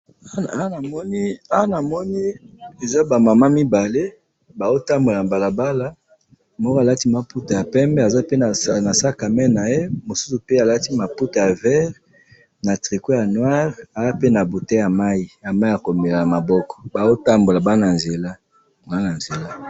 Awa namoni, awa namoni eza ba mama mibale, bazotambola nabalabala, moko alati maputa yapembe aza pe nasakame naye, mususu pe alati maputa ya vert na tricot ya noir, azape na bouteille ya mayi, ya mayi yakomela namaboko, baotambola baa nanzela, nanzela